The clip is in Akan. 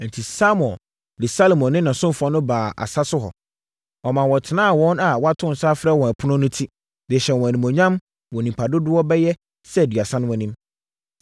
Enti, Samuel de Saulo ne ne ɔsomfoɔ no baa asa so hɔ. Ɔmaa wɔtenaa wɔn a wɔato nsa afrɛ wɔn no ɛpono ti, de hyɛɛ wɔn animuonyam wɔ nnipa dodoɔ bɛyɛ sɛ aduasa no anim.